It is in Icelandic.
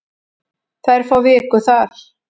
Þær fá viku þar.